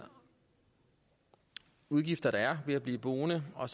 udgifter der er ved at blive boende og